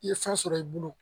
I ye fɛn sɔrɔ i bolo